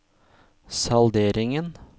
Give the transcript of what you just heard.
salderingen